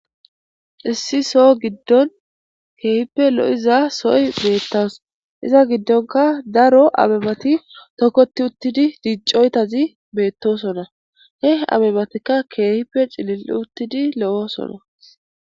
Issi soo giddon keehippe lo7iza soy beettas iza giddonka daro abebati tokkoti uttidi diiccoytazi beettosona he abebateka keehippe cilil uttidi lo7osona.